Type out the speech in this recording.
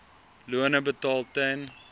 lone betaal ten